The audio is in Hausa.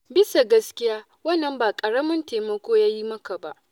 Bisa gaskiya wannan ba ƙaramin taimako ya yi maka ba.